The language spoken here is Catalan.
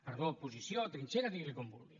perdó posició o trinxera digui li com vulgui